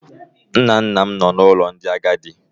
Nna nna m nọ na ụlọ ndị agadi.